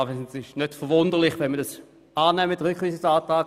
Es ist nicht verwunderlich, dass wir den Rückweisungsantrag annehmen.